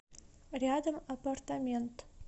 рядом аппартамент